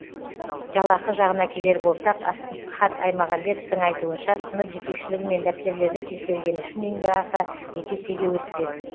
жалақы жағына келер болсақ асхат аймағамбетовтың айтуынша сынып жетекшілігі мен дәптерлерді тексергені үшін еңбекақы екі есеге өспек